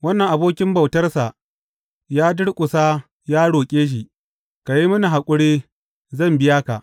Wannan abokin bautarsa ya durƙusa ya roƙe shi, Ka yi mini haƙuri, zan biya ka.’